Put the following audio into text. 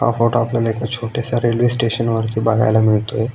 हा फोटो आपल्याला एक छोट्याश्या रेल्वे स्टेशन वरचा बघायला मिळतोय.